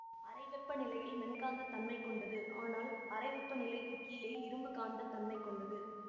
அறை வெப்பநிலையில் மென்காந்தத் தன்மை கொண்டது ஆனால் அறை வெப்பநிலைக்குக் கீழே இரும்புக்காந்தத்தன்மை கொண்டது